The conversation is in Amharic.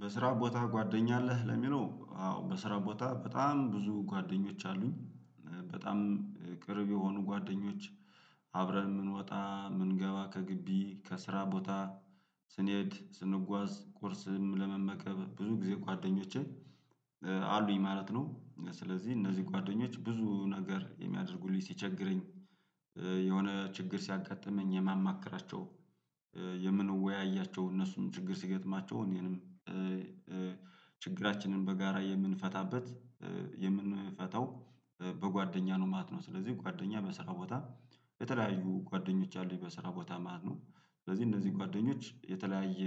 በስራ ቦታ ጓደኛ አለህ? ለሚለው አዎ በስራ ቦታ በጣም ብዙ ጓደኞች አሉኝ በጣም ቅርብ የሆኑ ጓደኞች። አብረን የምንወጣ የምንገባ ከግቢ ከስራ ቦታ ስንሄድ ስንጓዝ ቁርስም ለመመከብ ብዙ ጊዜ ጓደኞቼ አሉኝ ማለት ነው። ስለዚህ እነዚህ ጓደኞች ብዙ ነገር የሚያደርጉልኝ ሲቸግረኝ። የሆነ ችግር ሲያጋጥመኝ የማማክራቸው የምንወያያቸው እነሱን ችግር ሲገጥማቸው እኔንም። ችግራችንን በጋራ የምንፈታበት የምንፈታው በጓደኛ ነው ማለት ነው። ስለዚህ ጓደኛ በስራ ቦታ። የተለያዩ ጓደኞች አሉኝ በስራ ቦታ ማለት ነው። ስለዚህ እነዚህ ጓደኞች የተለያየ